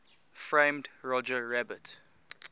framed roger rabbit